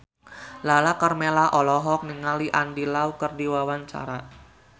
Lala Karmela olohok ningali Andy Lau keur diwawancara